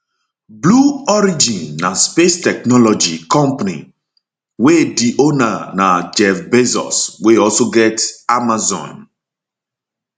blue origin na space technology company technology company wey di owner na jeff bezos wey also get amazon